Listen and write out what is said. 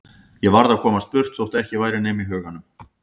Ég varð að komast burt þótt ekki væri nema í huganum.